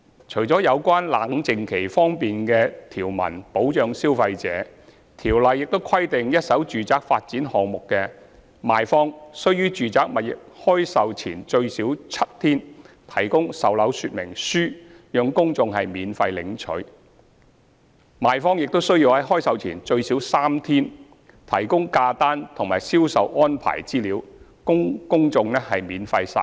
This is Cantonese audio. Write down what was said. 除了有關"冷靜期"方面的條文保障消費者，《條例》亦規定一手住宅發展項目的賣方須於住宅物業開售前最少7天，提供售樓說明書讓公眾免費領取；賣方亦須在開售前最少3天，提供價單及銷售安排資料供公眾免費索閱。